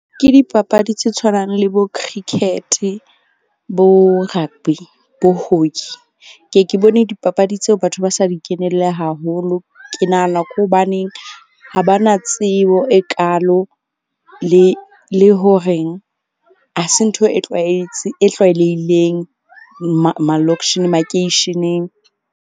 Ke dipapadi tse tshwanang le bo cricket-e, bo rugby, bo hockey. Ke ke bone dipapadi tseo batho ba sa di kenelle haholo. Ke nahana ke hobaneng ha ba na tsebo e kaalo le ho reng ha se ntho e tlwaetse e tlwaelehileng makeisheneng.